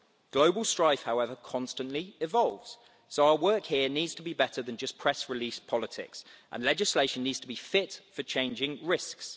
Global strife, however, constantly evolves, so our work here needs to be better than just press release politics, and legislation needs to be fit for changing risks.